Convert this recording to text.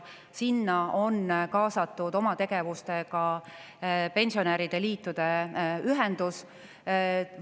Sinna on oma tegevustega kaasatud pensionäride.